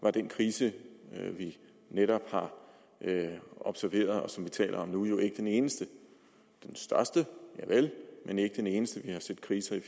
er den krise vi netop har observeret og som vi taler om nu ikke den eneste den største javel men ikke den eneste vi har set kriser i